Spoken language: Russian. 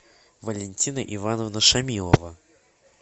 валентина ивановна шамилова